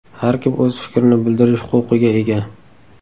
Har kim o‘z fikrini bildirish huquqiga ega.